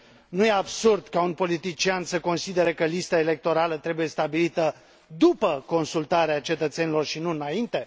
Nu e absurd ca un politician să considere că lista electorală trebuie stabilită după consultarea cetățenilor și nu înainte?